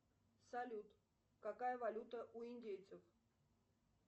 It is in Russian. салют какая валюта у индейцев